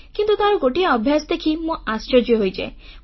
କିନ୍ତୁ ତାର ଗୋଟିଏ ଅଭ୍ୟାସ ଦେଖି ମୁଁ ଆଶ୍ଚର୍ଯ୍ୟ ହୋଇଯାଏ